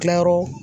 Kilayɔrɔ